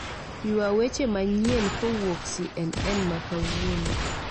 Ywa weche manyien kowuok c.n.n makawuono